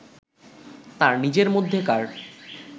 তার নিজের মধ্যেকার